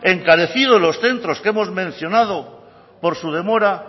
encarecido los centros que hemos mencionado por su demora